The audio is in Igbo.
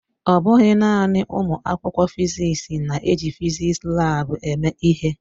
Ọ bụghị naanị ụmụ akwụkwọ fịzịksi na-eji fịzịksi laabu eme ihe.